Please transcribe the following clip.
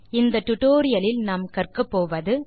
இந்த டுடோரியலின் முடிவில் உங்களால் பின் வருவனவற்றை செய்ய முடியும்